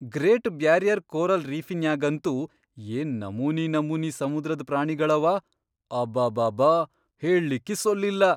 Great barrier coral ರೀಫಿನ್ಯಾಗಂತೂ ಏನ್ ನಮೂನಿ ನಮೂನಿ ಸಮುದ್ರದ್ ಪ್ರಾಣಿಗಳವ ಅಬಾಬಾಬಾ ಹೇಳ್ಳಿಕ್ಕಿ ಸೊಲ್ಲಿಲ್ಲ.